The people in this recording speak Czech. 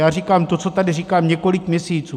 Já říkám to, co tady říkám několik měsíců.